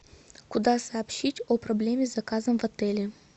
куда сообщить о проблеме с заказом в отеле